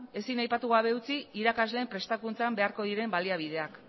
ezin aipatu gabe utzi irakasleen prestakuntzan beharko diren baliabideak